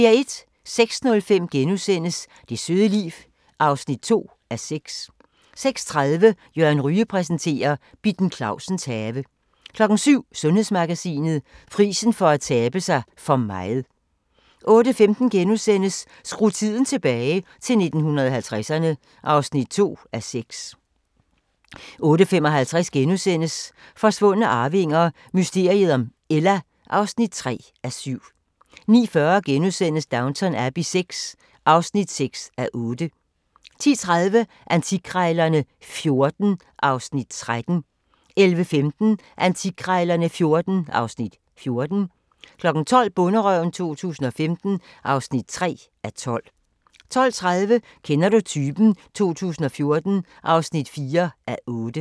06:05: Det søde liv (2:6)* 06:30: Søren Ryge præsenterer: Bitten Clausens have 07:00: Sundhedsmagasinet: Prisen for at tabe sig for meget 08:15: Skru tiden tilbage – til 1950'erne (2:6)* 08:55: Forsvundne arvinger: Mysteriet om Ella (3:7)* 09:40: Downton Abbey VI (6:8)* 10:30: Antikkrejlerne XIV (Afs. 13) 11:15: Antikkrejlerne XIV (Afs. 14) 12:00: Bonderøven 2015 (3:12) 12:30: Kender du typen? 2014 (4:8)